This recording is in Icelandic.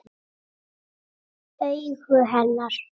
Augu hennar.